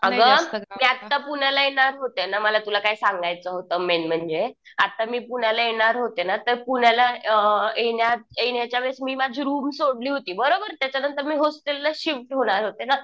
अगं मी आता पुण्याला येणार होते ना. मला तुला काही सांगायचं होतं मेन म्हणजे आता मी पुण्याला येणार होते ना तर पुण्याला येण्यात, येण्याच्या वेळेस मी माझी रुम सोडली होती. बरोबर. त्याच्या नंतर मी होस्टेलला शिफ्ट होणार होते ना.